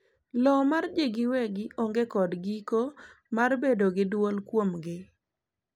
lowo mar jii giwegi onge kod giko marbedo gi duol kuomgi